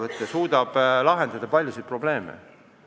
Samas suudab üks eraettevõte lahendada paljusid probleeme.